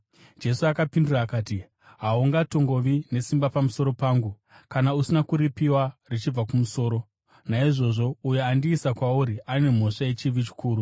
Jesu akapindura akati, “Haungatongovi nesimba pamusoro pangu kana usina kuripiwa richibva kumusoro. Naizvozvo uyo andiisa kwauri ane mhosva yechivi chikuru.”